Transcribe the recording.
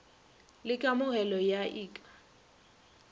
le kamogelo ya ik ka